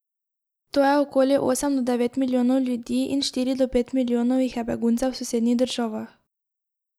To je okoli osem do devet milijonov ljudi in štiri do pet milijonov jih je beguncev v sosednjih državah.